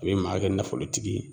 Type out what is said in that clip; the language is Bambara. A be maa kɛ nafolotigi ye